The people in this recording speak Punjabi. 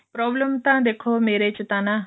problem ਤਾਂ ਦੇਖੋ ਮੇਰੇ ਚ ਤਾਂ ਨਾ